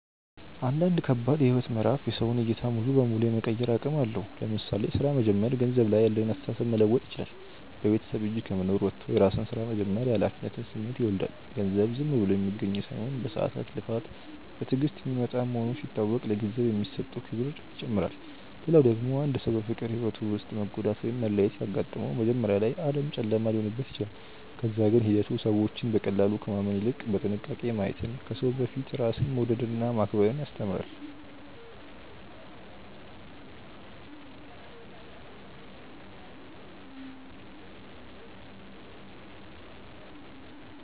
አንዳንድ ከባድ የህይወት ምዕራፍ የሰውን ዕይታ ሙሉ በሙሉ የመቀየር አቅም አለው። ለምሳሌ ሥራ መጀመር ገንዘብ ላይ ያለንን አስተሳሰብ መለወጥ ይችላል። በቤተሰብ እጅ ከመኖር ወጥቶ የራስን ስራ መጀመር የኃላፊነት ስሜትን ይወልዳል። ገንዘብ ዝም ብሎ የሚገኝ ሳይሆን በሰዓታት ልፋት፣ በትዕግስት የሚመጣ መሆኑ ሲታወቅ ለገንዘብ የሚሰጠው ክብር ይጨምራል። ሌላ ደግሞ አንድ ሰው በፍቅር ህይወቱ ውስጥ መጎዳት ወይም መለያየት ሲያጋጥመው፣ መጀመሪያ ላይ ዓለም ጨለማ ሊሆንበት ይችላል። ከዛ ግን ሂደቱ ሰዎችን በቀላሉ ከማመን ይልቅ በጥንቃቄ ማየትን፣ ከሰው በፊት ራስን መውደድንና ማክበርን ያስተምራል።